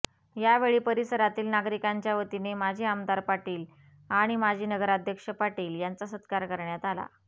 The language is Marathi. यावेळी परिसरातील नागरिकांच्यावतीने माजी आमदार पाटील आणि माजी नगराध्यक्ष पाटील यांचा सत्कार करण्यात आला